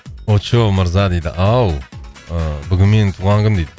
очоу мырза дейді ау ыыы бүгін менің туған күнім дейді